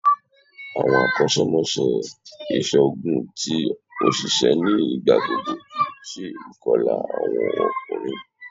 Awọn akọṣẹmọṣẹ iṣoogun ti oṣiṣẹ ni igbagbogbo ṣe ikọla awọn ọkunrin